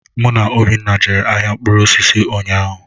Mụ na Obinna jere ahịa mkpụrụ osisi ụnyaahụ.